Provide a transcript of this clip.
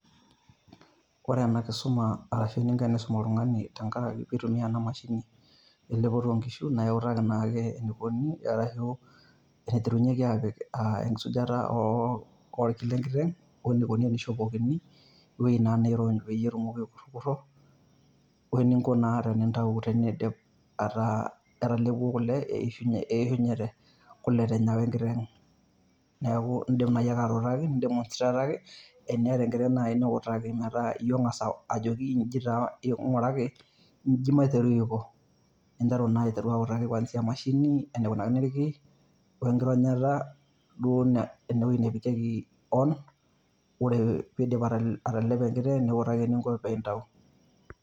Ore ena kisuma ashu eninko tenisum oltung`ani tenkaraki pee itumia ena mashini elepeto oo nkishu. Naa iutaki naake enikoni, arashu eniterunyieki aapik aa enkisujata oo ilki le nkiteng o nikoni te nishopokini, ewueji naa nirony peyie etumoki aikurrukuro o ninko naa tenintayu teneidip ataa etalepuo kule eishunyete kule te nyewa enkiteng. Niaku idim naaji ake atuutaki, idim ai demonstrate taki teneeta enkiteng niutaki. Metaa iyie ong`as autaki nijoki ing`uraki inji maiteru aiko ninteru naa aiteru autaki kuanzia w mashini, enaikunakini ilki o nkironyata duo ene nepikieki on. Ore pee idip atalepo enkiteng niutaki eninko pee intayu.